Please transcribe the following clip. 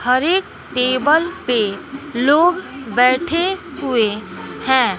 हर एक टेबल पे लोग बैठे हुए हैं।